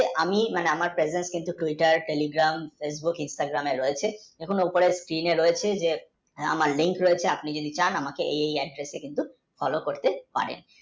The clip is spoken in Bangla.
আমি মানে আমার favourite কিন্তু Twitter, Telegram এবং Instagram এ রয়েছে কোনও উপায় clear হয়েছে আমার link রয়েছে আপনি যদি চান তাহলে আমাকে কিন্তু এই address এ follow করতে পারেন।